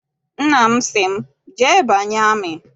Nna m sị m, jee banye amị!